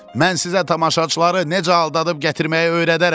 Mən sizə tamaşaçıları necə aldadıb gətirməyi öyrədərəm.